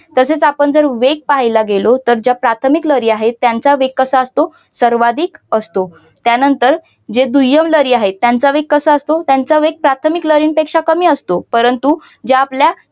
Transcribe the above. तसेच आपण जर वेग पहायला गेलो तरच या प्राथमिक लहरी आहेत त्यांचा वेग कसा असतो सर्वाधिक असतो. त्यानंतर ज्या दुय्यम लहरी आहेत. त्यांचा विकास असतो त्यांचा वेग प्रार्थमिक लहरी पेक्षा कमी असतो परंतु या आपल्या